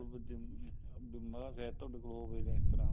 ਜੇ ਦਿਮਾਗ ਹੈ ਤੁਹਾਡੇ ਕੋਲ ਉਹ ਇਸ ਤਰ੍ਹਾਂ